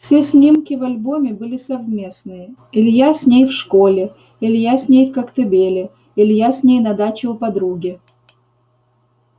все снимки в альбоме были совместные илья с ней в школе илья с ней в коктебеле илья с ней на даче у подруги